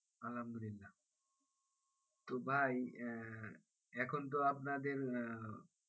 আলহামদুলিল্লা তো ভাই আহ এখন তো আপনাদের আহ